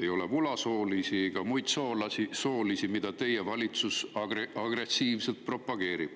ei ole vulasoolisi ega muusoolisi, mida teie valitsus agressiivselt propageerib.